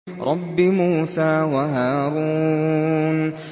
رَبِّ مُوسَىٰ وَهَارُونَ